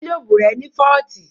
Gílóbù rẹ̀ ní fọ́ọ̀tì